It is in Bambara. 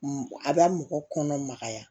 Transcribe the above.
A bɛ mɔgɔ kɔnɔ magaya